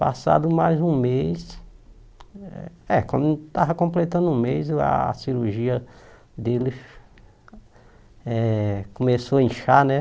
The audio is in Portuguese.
Passado mais um mês, é quando estava completando um mês, a cirurgia dele eh começou a inchar, né?